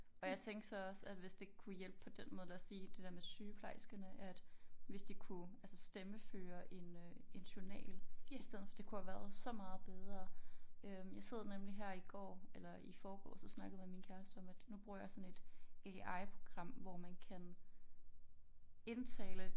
Og jeg tænkte så også at hvis det kunne hjælpe på den måde lad os sige det der med sygeplejerskerne at hvis de kunne altså stemmeføre en øh en journal i stedet for det kunne have været så meget bedre øh jeg sad nemlig her i går eller i foregårs og snakkede med min kæreste om at nu bruger jeg sådan et AI program hvor man kan indtale